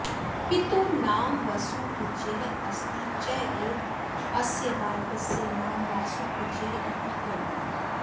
पितुः नाम वसुपूज्यः अस्ति चेत् अस्य बालकस्य नाम वासुपूज्यः इति करणीयम्